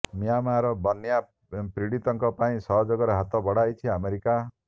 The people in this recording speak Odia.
ମିଆଁମାରରେ ବନ୍ୟା ପ୍ରପୀଡିତଙ୍କ ପାଇଁ ସହଯୋଗର ହାତ ବଢାଇଛି ଆମେରିକା